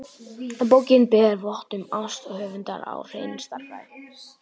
Bókin ber vott um ást höfundar á hreinni stærðfræði.